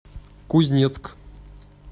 кузнецк